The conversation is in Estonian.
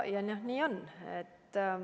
Nii on.